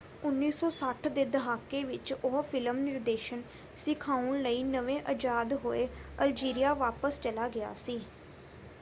1960 ਦੇ ਦਹਾਕੇ ਵਿੱਚ ਉਹ ਫਿਲਮ ਨਿਰਦੇਸ਼ਨ ਸਿਖਾਉਣ ਲਈ ਨਵੇਂ ਆਜ਼ਾਦ ਹੋਏ ਅਲਜੀਰੀਆ ਵਾਪਸ ਚਲਾ ਗਿਆ ਸੀ।